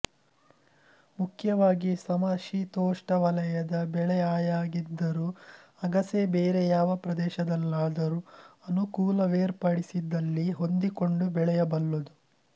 ಮುಖ್ಯವಾಗಿ ಸಮಶೀತೋಷ್ಣವಲಯದ ಬೆಳೆಆಯಾಗಿದ್ದರೂ ಅಗಸೆ ಬೇರೆ ಯಾವ ಪ್ರದೇಶದಲ್ಲಾದರೂ ಅನುಕೂಲವೇರ್ಪಡಿಸಿದಲ್ಲಿ ಹೊಂದಿಕೊಂಡು ಬೆಳೆಯಬಲ್ಲುದು